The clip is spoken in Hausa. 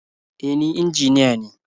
E, ni injiniya ne.